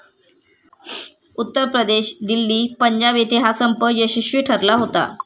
उत्तर प्रदेश, दिल्ली, पंजाब येते हा संप यशस्वी ठरला होता.